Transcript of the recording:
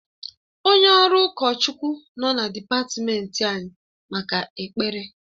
Onye ọrụ ụkọchukwu nọ na dịpatmenti anyị maka ekpere